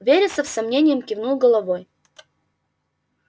вересов с сомнением кивнул головой